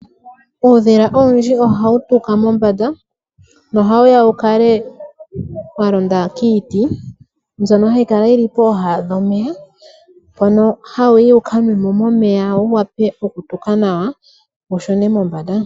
Uudhila owundji ohawu tuka mombanda nohawu ya wu kale wa londa kiiti, mbyono hayi kala yi li pooha dhomeya. Mpono hawu yi wu kanwe mo momeya wu wape okutuka nawa, wu shune mombanda.